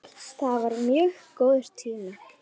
Það var mjög góður tími.